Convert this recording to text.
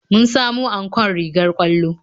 Mun samo ankon rigar ƙwallo